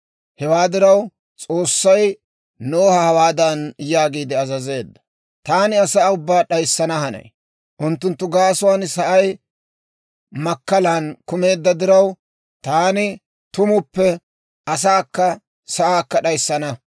Hewaa diraw, S'oossay Noha hawaadan yaagiide azazeedda; «Taani asaa ubbaa d'ayssana hanay; unttunttu gaasuwaan sa'ay makkalan kumeedda diraw, taani tumuppe asaakka sa'aakka d'ayssana.